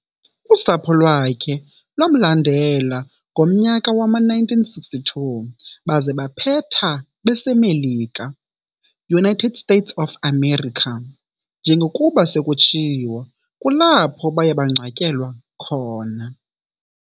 Usapho lwakhe lwamlandela ngomnyaka wama-1962 baze baphetha bese Melika, United States of America, njengokuba sekutshiwo kulapho baye bangcwatyelwa khona.